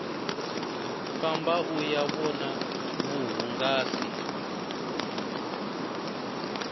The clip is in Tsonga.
famba uya vona vuhungasi